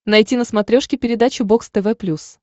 найти на смотрешке передачу бокс тв плюс